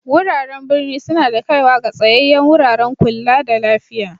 Wuraren birni suna da kaiwa ga tsayayen wuraren ƙulla da lafiya.